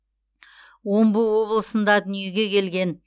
омбы облысында дүниеге келген